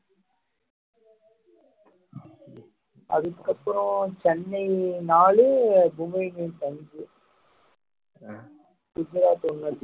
அதுக்கு அப்புறம் சென்னை நாளு மும்பை இந்தியன்ஸ் அஞ்சு